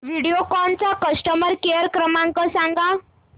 व्हिडिओकॉन चा customer care क्रमांक सांगा